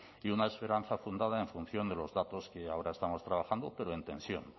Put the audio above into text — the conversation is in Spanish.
y una esperanza fundada en función de los datos que ahora estamos trabajando pero en tensión